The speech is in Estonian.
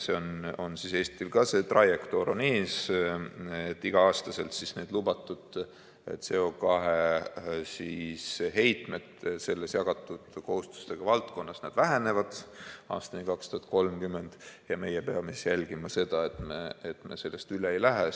Eestil on ka see trajektoor ees, et iga-aastaselt lubatud CO2 heitmed selles jagatud kohustustega valdkonnas vähenevad aastani 2030, ja meie peame jälgima seda, et me sellest üle ei lähe.